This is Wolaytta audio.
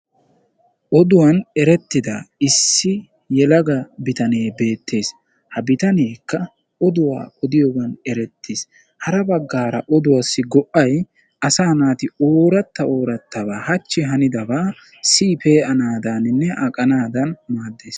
Oduwaani erettidda issi yelaga bittanee beettes. Ha bitanekka oduwaa odiyoggan erettees. Harabagara oduwassi go"ay asa naati ooratta oorattaba hachchi hannidabba siyi pe'idaninne aqanaadan maaddees.